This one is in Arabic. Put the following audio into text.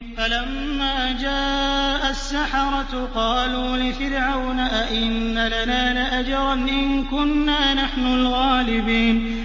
فَلَمَّا جَاءَ السَّحَرَةُ قَالُوا لِفِرْعَوْنَ أَئِنَّ لَنَا لَأَجْرًا إِن كُنَّا نَحْنُ الْغَالِبِينَ